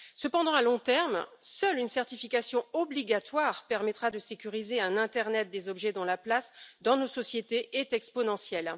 Cependant, à long terme, seule une certification obligatoire permettra de sécuriser un internet des objets dont la place dans nos sociétés est exponentielle.